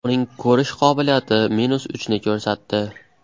Uning ko‘rish qobiliyati minus uchni ko‘rsatdi.